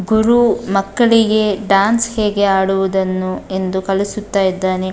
ಗುರು ಮಕ್ಕಳಿಗೆ ಡಾನ್ಸ್ ಹೇಗೆ ಆಡುವುದನ್ನು ಎಂದು ಕಲಿಸುತ್ತಾ ಇದ್ದಾನೆ.